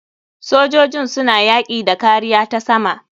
Sojojin suna yaki da kariya ta sama.